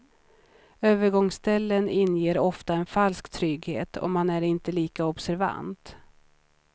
Övergångsställen inger ofta en falsk trygghet, och man är inte lika observant.